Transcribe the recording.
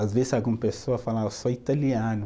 Às vezes alguma pessoa fala, ah eu sou italiano.